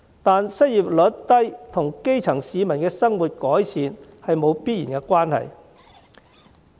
但是，失業率低與基層市民的生活改善沒有必然關係。